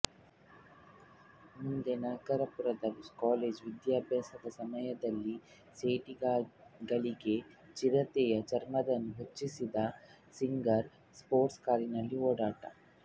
ಮುಂದೆ ನಾಗಪುರದಲ್ಲಿ ಕಾಲೇಜು ವಿದ್ಯಾಭ್ಯಾಸದ ಸಮಯದಲ್ಲಿ ಸೀಟುಗಳಿಗೆ ಚಿರತೆಯ ಚರ್ಮ ಹೊಚ್ಚಿದ್ದ ಸಿಂಗರ್ ಸ್ಪೋರ್ಟ್ಸ್ ಕಾರಿನಲ್ಲಿ ಓಡಾಟ